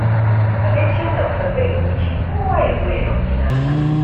Abincin nan fa zai huce kowa ya zo ya ɗauki nasa.